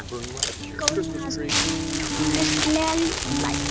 Og þá kreppti skóinn að hans kristilega lítillæti.